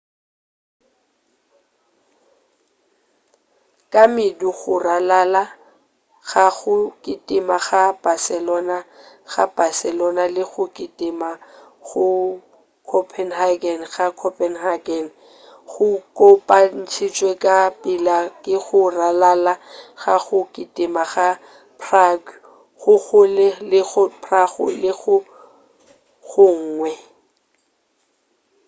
ka medu go ralala ga go kitima go barcelona ga barcelona le go kitima go copenhagen ga copenhagen go kopantšhitšwe ka pela ke go ralala ga go kitima ga prague go go lego prague le go gongwe